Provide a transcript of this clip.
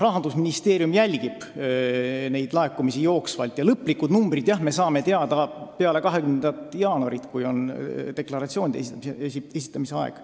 Rahandusministeerium jälgib neid laekumisi jooksvalt ja lõplikud numbrid me saame teada peale 20. jaanuari, kui on deklaratsioonide esitamise aeg.